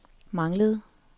manglede